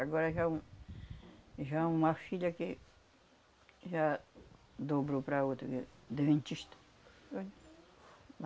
Agora já u já uma filha que já dobrou para outra que é, deventista